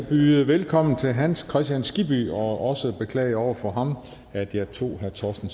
byde velkommen til herre hans kristian skibby og også beklage over for ham at jeg tog herre torsten